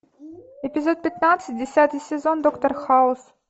эпизод пятнадцать десятый сезон доктор хаус